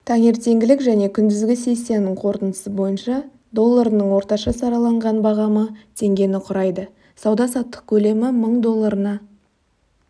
таңертеңгілік және күндізгі сессиясының қорытындысы бойынша долларының орташа сараланған бағамы теңгені құрайды сауда-саттық көлемі мың долларына